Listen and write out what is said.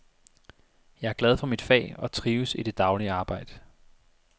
Jeg er glad for mit fag og trives i det daglige arbejde.